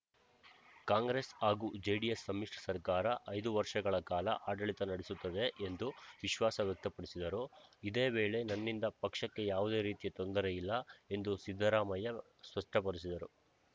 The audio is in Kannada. ಕಾಂಗ್ರೆಸ್‌ ಹಾಗೂ ಜೆಡಿಎಸ್‌ ಸಮಿಶ್ರ ಸರಕಾರ ಐದು ವರ್ಷಗಳ ಕಾಲ ಆಡಳಿತ ನಡೆಸುತ್ತದೆ ಎಂದು ವಿಶ್ವಾಸ ವ್ಯಕ್ತಪಡಿಸಿದರು ಇದೇ ವೇಳೆ ನನ್ನಿಂದ ಪಕ್ಷಕ್ಕೆ ಯಾವುದೇ ರೀತಿಯ ತೊಂದರೆ ಇಲ್ಲ ಎಂದು ಸಿದ್ದರಾಮಯ್ಯ ಸ್ಪಷ್ಟಪಡಿಸಿದರು